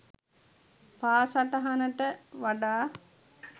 පා සටහනට වඩා